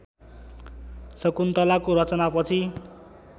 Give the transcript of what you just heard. शकुन्तलाको रचनापछि